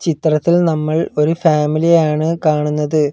ചിത്രത്തിൽ നമ്മൾ ഒരു ഫാമിലിയെ ആണ് കാണുന്നത്.